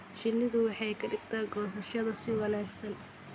Shinnidu waxay ka dhigtaa goosashada si wanaagsan.